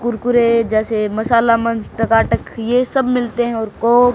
कुरकुरे जैसे मसाला मंच टकाटक ये सब मिलते हैं और को--